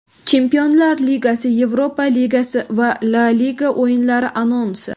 Chempionlar ligasi, Yevropa Ligasi va La liga o‘yinlari anonsi.